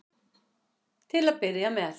Til að byrja með.